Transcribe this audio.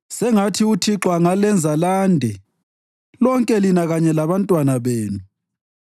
Sengathi uThixo angalenza lande, lonke lina kanye labantwana benu.